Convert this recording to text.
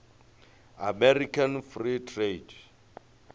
american free trade